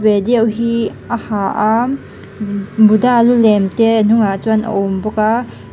ve deuh hi a ha a buddha lu lem te a hnungah chuan a awm bawk a.